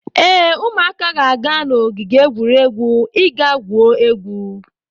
Ee, ụmụaka ga-aga n'ogige egwuregwu ị gaa gwuo egwu.